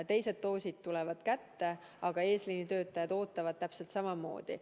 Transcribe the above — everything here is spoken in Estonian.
Teiste dooside aeg tuleb kätte, aga eesliini töötajad ootavad täpselt samamoodi.